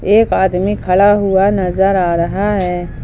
एक आदमी खड़ा हुआ नज़र आ रहा है।